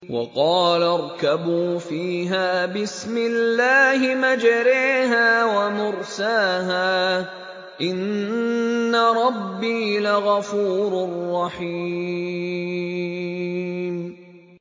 ۞ وَقَالَ ارْكَبُوا فِيهَا بِسْمِ اللَّهِ مَجْرَاهَا وَمُرْسَاهَا ۚ إِنَّ رَبِّي لَغَفُورٌ رَّحِيمٌ